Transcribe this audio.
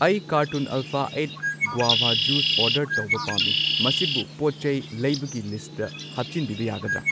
ꯑꯩ carton Alpha eight guava juice order ꯇꯧꯕ ꯄꯥꯝꯃꯤ, ꯃꯁꯤꯕꯨ ꯄꯣꯠꯆꯩ ꯂꯩꯕꯒꯤ ꯂꯤꯁꯠꯇ ꯍꯥꯞꯆꯤꯟꯕꯤꯕ ꯌꯥꯒꯗ꯭ꯔꯥ?